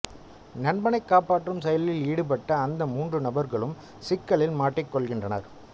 நண்பனைக் காப்பற்றும் செயலில் ஈடுபட்ட அந்து மூன்று நண்பர்களும் சிக்கலில் மாட்டிக்கொள்கின்றனர்